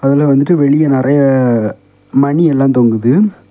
அதுல வந்துட்டு வெளிய நெறைய மணியேள்ள தொங்குத்து.